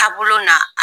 Taabolo na